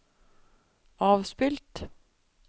avspilt